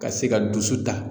Ka se ka dusu ta.